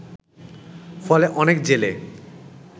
ফলে অনেক জেলে